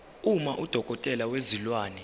uma udokotela wezilwane